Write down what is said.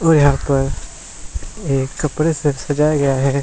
और यहाँ पर एक कपडे से सजाया गया है।